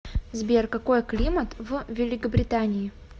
сбер какой климат в великобритании